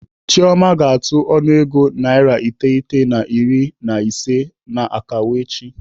Chioma ga-atụ ọnụego naira narị iteghete na iri na ise n'akawo echi.